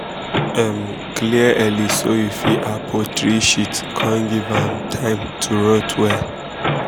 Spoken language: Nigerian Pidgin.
um clear early so you fit add poultry sheet come give am um time to rot well um